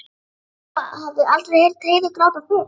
Lóa-Lóa hafði aldrei heyrt Heiðu gráta fyrr.